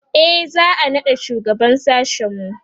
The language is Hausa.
e za'a naɗa shugaban sashen mu